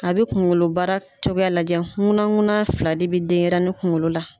A bɛ kunkolobara cogo lajɛ, nkuna nkuna fila de bɛ denɲɛrɛnin kunkolo la.